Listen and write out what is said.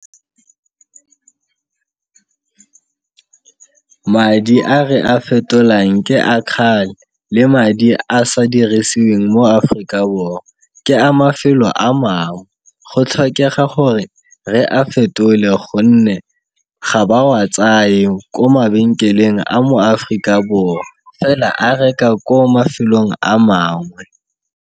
Madi a re a fetolang ke a le madi a sa dirisiweng mo Aforika Borwa ke a mafelo a mangwe. Go tlhokega gore re a fetole gonne ga ba wa tsaye ko mabenkeleng a mo Aforika Borwa fela a reka ko mafelong a mangwe.